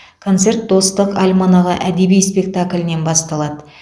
концерт достық альманағы әдеби спектаклінен басталады